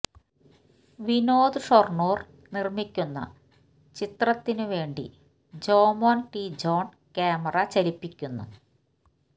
വിനോദ് ഷൊര്ണൂര് നിര്മിയ്ക്കുന്ന ചിത്രത്തിന് വേണ്ടി Jomon T John camera ചലിപ്പിയ്ക്കുന്നു